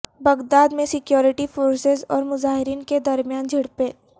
Baghdad میں security forces اور مظاہرین کے درمیان جھڑپیں